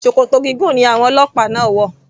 Ṣòkòtò gígùn ni àwọn ọlọ́pàá náà wò.